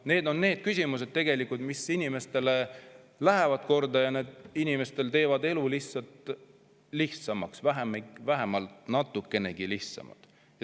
Need on need küsimused, mis inimestele korda lähevad ja teevad inimestel elu lihtsamaks, vähemalt natukenegi lihtsamaks.